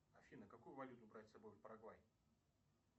афина какую валюту брать с собой в парагвай